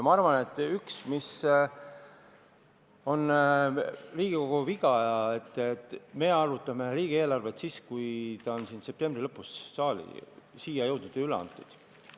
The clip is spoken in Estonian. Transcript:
Ma arvan, et üks Riigikogu vigu on see, et me arutame riigieelarvet siis, kui see on septembri lõpus saali jõudnud ja üle antud.